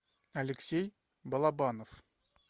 алексей балабанов